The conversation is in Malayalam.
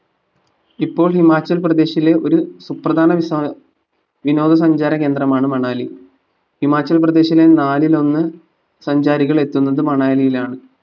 ഇപ്പോൾ ഹിമാചൽപ്രദേശിലെ ഒരു സുപ്രധാന വിസ്‌വ വിനോദ സഞ്ചാര കേന്ദ്രമാണ് മണാലി ഹിമാചൽപ്രദേശില് നാലിൽ ഒന്ന് സഞ്ചാരികൾ എത്തുന്നത് മണാലിയിലാണ്